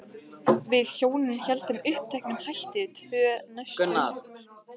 Við hjónin héldum uppteknum hætti tvö næstu sumur.